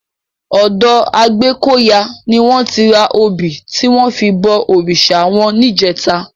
Òdò Agbekoya ni wòn ti rá óbi tiwòn fi bò órisá wòn nijètá